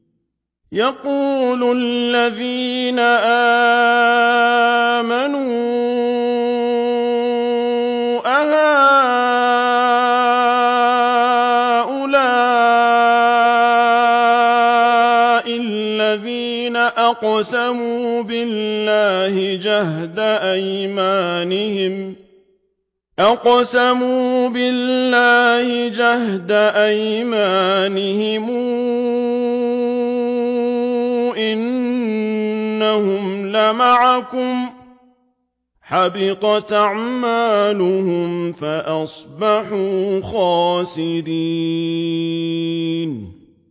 وَيَقُولُ الَّذِينَ آمَنُوا أَهَٰؤُلَاءِ الَّذِينَ أَقْسَمُوا بِاللَّهِ جَهْدَ أَيْمَانِهِمْ ۙ إِنَّهُمْ لَمَعَكُمْ ۚ حَبِطَتْ أَعْمَالُهُمْ فَأَصْبَحُوا خَاسِرِينَ